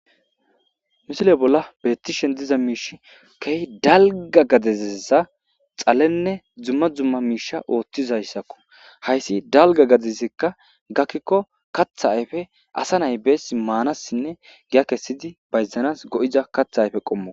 Ha misile bolla beetishe diza issi dalgga gade dumma dumma misha otiza issako ha issi dalgga gade giddo gakiko kaththa ayife asa nayi besesi manasine giya kesidi bayzidi kaththa qommoko